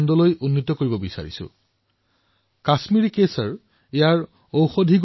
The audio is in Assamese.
কাশ্মীৰি কেশৰ বৈশ্বিক স্তৰত এনে মচলাৰ ৰূপত প্ৰসিদ্ধ যাৰ বহুকেইটা ঔষধীয় গুণ আছে